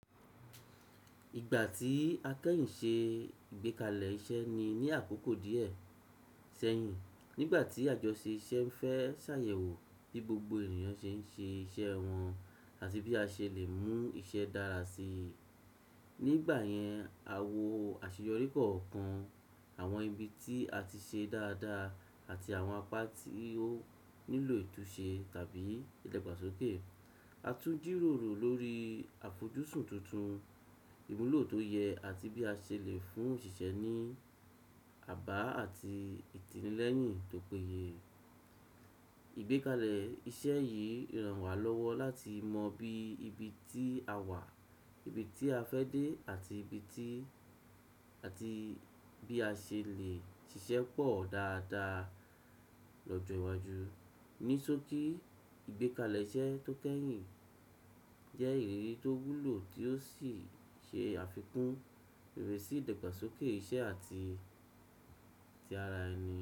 Ìgbà tí a kẹ́yìn ṣe ìgbékalẹ̀ iṣẹ́ ni ní àkókò díẹ̀ sẹ́yìn, nígbà tí àjọṣe iṣẹ́ ń fẹ́ ṣàyẹ̀wò bí gbogbo ènìyàn ṣe ń ṣe iṣẹ́ wọn àti bí a ṣe lè mú iṣẹ́ dára sí i. Nígbà yẹn, a wo àṣeyọrí kọ̀ọ̀kan, àwọn ibi tí a ti ṣe dáadáa àti àwọn apá tí ó nílò ìtúnṣe tàbí ìdàgbàsókè. A tún jìròrò lórí àfojúsùn tuntun, ìmúlò tó yẹ àti bí a ṣe lè fún òṣìṣẹ́ ní àbá àti ìtinilẹ́yìn tó péye. Ìgbékalẹ̀ iṣẹ́ yìí ràn wá lọ́wọ́ láti mọ bí ibi tí a wà, ibi tí a fẹ́ dé àti ibi tí àti bí a ṣe lè ṣiṣẹ́ pọ̀ dáadáa lọ́jọ́ iwájú. Ní sókí, ìgbékalẹ̀ iṣẹ́ tó kẹ́yìn jẹ́ ìrírí tó wúlò tí ó sì ṣe àfikún ìrísi ìdàgbàsókè iṣẹ́ àti ti ara ẹni.